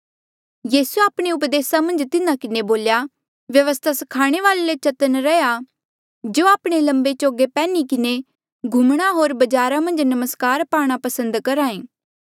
यीसूए आपणे उपदेसा मन्झ तिन्हा किन्हें बोल्या व्यवस्था स्खाणे वाल्ऐ ले चतन्न रैहया जो आपणे लम्बे चोगे पैन्ही किन्हें घुमणा होर बजारा मन्झ नमस्कार पाणा पसंद करहा ऐें